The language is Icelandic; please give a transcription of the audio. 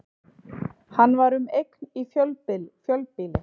Hann var um eign í fjölbýli